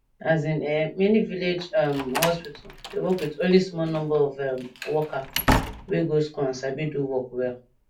as in[um]many village um hospital dey work with only small number of um worker wey go school and sabi do work well